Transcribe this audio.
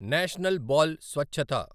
national Bal Swachhata